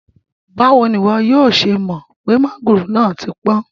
Bawo ni iwọ yoo ṣe mọ pe mangoro naa ti pọn?